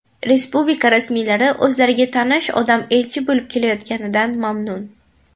Respublika rasmiylari o‘zlariga tanish odam elchi bo‘lib kelayotganidan mamnun.